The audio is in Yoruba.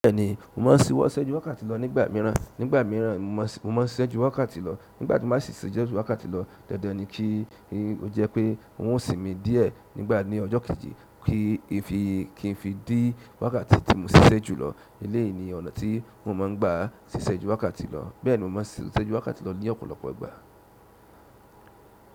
Bẹ́ẹ̀ni, mo máa ń ṣisẹ́ ju wákàtí lọ nígbà míràn. Nígbà míràn mo máa ń ṣiṣẹ́ ju wákàtí lọ, nígbà tí mo á sì ṣe ju wákàtí lọ, dandan ni kí ó jẹ́ pé wọn ó sinmi díẹ̀ nígbà ní ọjọ́ kejì kí n fi dí wákàtí tí mo ṣiṣẹ́ jùlọ. Eleyií ni ọ̀nà tí mo máa ń gbà ṣiṣẹ́ ju wákàtí lọ, bẹ́ẹ̀ni mo máa n ṣiṣẹ́ ju wákàtí lọ ní ọ̀pọ̀lọpọ̀ ìgbà.